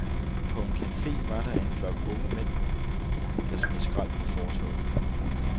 På en cafe var der en flok unge mænd, der smed skrald på fortovet.